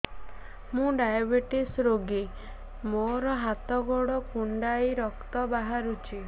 ମୁ ଡାଏବେଟିସ ରୋଗୀ ମୋର ହାତ ଗୋଡ଼ କୁଣ୍ଡାଇ ରକ୍ତ ବାହାରୁଚି